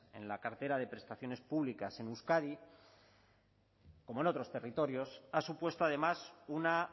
en la cartera de prestaciones públicas en euskadi como en otros territorios ha supuesto además una